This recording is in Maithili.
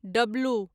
डब्लू